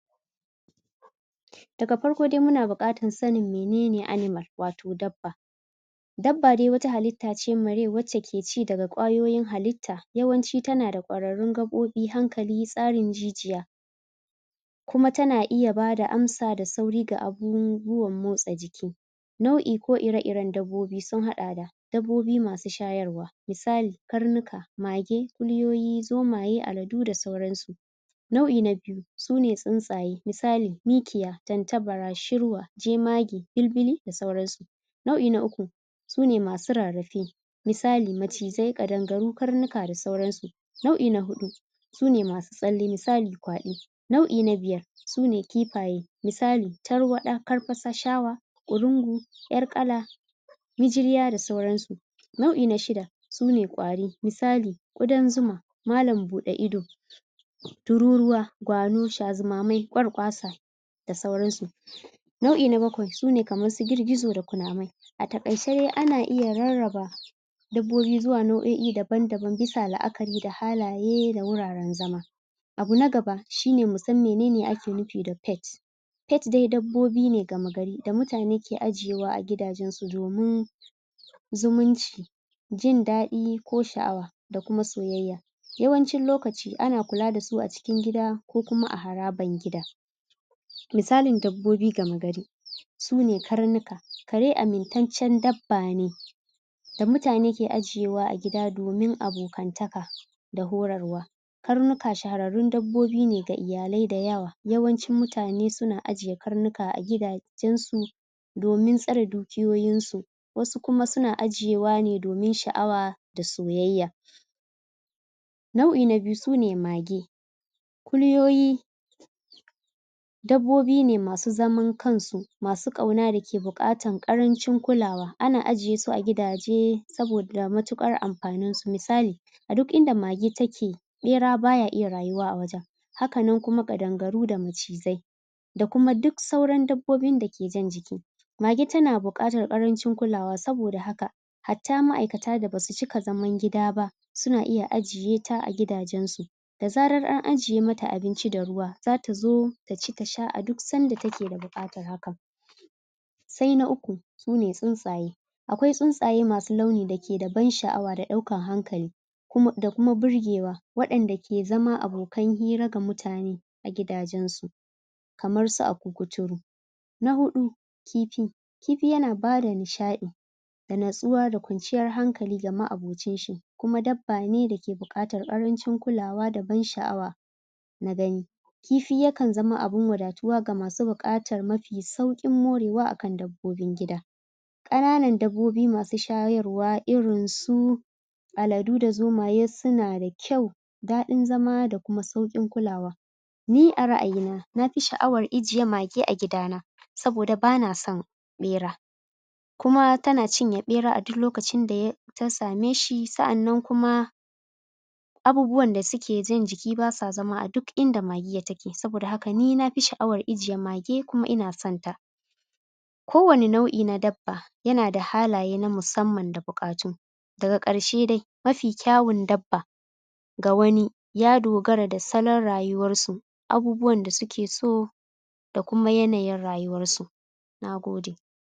Daga farko dai muna buƙatar sanin mene ne animal, wato dabba. Dabba dai wata hallita ce mai rai wacce ke ci daga ƙwaoyin halitta, yawanci tana da ƙwararrun gaɓoɓi, hankali, tsarin jijiya, kuma tana iya bada amsa da sauri da abubuwan motsa jiki. Nau'i ko ire-iren dabbobi sun haɗa da: Dabbobi masu shayarwa, misali, karnuka, mage, kuliyoyi, zomaye, aladu da saura su. Nau'i na biyu, su ne tsuntsaye. Misali: mikiya, tantabara, shirwa, jemage, bilbili, da sauran su. Nau'i na uku, su ne masu rarrafe. Misali: macizai, ƙadangaru, karnuka da sauran su. Nau'i na huɗu, su ne masu tsalle, misali: kwaɗo. Nau'i na biyar, su ne kifaye misali: tarwaɗa, karfasa, shawa, ƙurungu, ƴar ƙala, mijirya, da sauran su. Nau'i na shida, su ne ƙwari, misali: ƙudan zuma, mallam buɗe ido, tururuwa, shazumamai, ƙwarƙwasa, da sauran su. Nau'i na bakwai, su ne kamar su girgizo da kunamai. A taƙaice dai ana iya rarraba rarraba dabbobi zuwa nauo'i daban-daban, bisa la'akari da halaye da wuraren zama. Abu na gaba, shine mu san me ake nufi da pet. Pet dai dabbobi ne da mutane ke ajewa a gidajen su domin zumunci, jin daɗi ko sha'awa, da kuma soyayya. Yawancin lokaci, ana kula da su a cikin gida ko kuma a haraban gida. Misalin dabbobi gama gari: su ne karnuka, kare amintaccen dabba ne da mutane ke ajiyewa a gida domin abokantaka, da horarwa. Krnuka shahararrun dabbobi ne ga iyalai da yawa, yawancin mutane suna ajiye karnuka a gidajen su domin tsare dukiyoyin su, wasu kuma suna ajiyewa ne domin sha'awa da soyayya. Nau'i na biyu su ne mage. Kuliyoyi, dabbobi ne masu zaman kan su, masu ƙauna da ke buƙatan ƙarancin kulawa, ana ajiye su a gidaje saboda matuƙar amfanin su. A duk inda mage take, ɓera baya iya rayuwa a wajen. Hakan nan kuma ƙadangaru da macizai, da kuma duk sauran dabbobin da ke jan jiki. Mage tana buƙatar ƙarancin kulawa, saboda haka hatta ma'aikata da basu cika zaman gida ba, suna iya ajiye ta a gidajen su. da zarar an ajiye mata abinci da ruwa, zat zo taci ta sha a duk sanda take buƙatan hakan. Sai na uku, su ne tsuntsaye. Akwai tsuntsaye masu launi da ke da ban sha'awa da ɗaukan hankali, da kuma burgewa, waɗan da ke zama abokan hira ga mutane a gidajen su, kamar su akun kuturu. Na huɗu, kifi. Kifi yana bada nishaɗi, da natsuwa da kwanciyan hankali da nishaɗi, kuma dabba ne da ke buƙatar ƙarancin kulawa, da nishaɗi na gani. Kifi ya kan zama abun wadatuwa, ga masu buƙatuwa ga masu buƙatan mafi sauƙin morewa akan dabbobin gida. Ƙananan dabbobi masu shayarwa irin su aladu da zomaye, suna da kyau, daɗin zama, da kuma sauƙin kulawa. Ni a ra ayi na, nafi sha'awar ijiye mage a gida na, saboda bana son ɓera, kuma tana cinye ɓera a duk lokacin da ta same shi, sa'annan kuma abubuwan da suke jan jiki basa zama a duk inda magiya take, saboda haka ni nafi sha'awan ijiye mage, kuma ina san ta. Ko wani nau'i na dabba, yana da halaye na musamman da buƙatu Daga ƙarshe dai, mafi kyawun dabba ga wani, ya dogara da salon rayuwar su, abubuwan da suke so da kuma yanayin rayuwar su. Nagode.